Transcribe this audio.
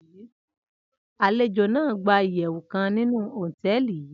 alejo nàá gba iyewu kan ninu hoteeli yii